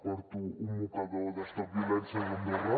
porto un mocador de stop violències andorra